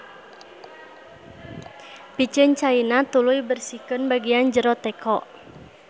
Piceun caina tuluy bersihkeun bagian jero teko.